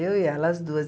Eu e ela, as duas.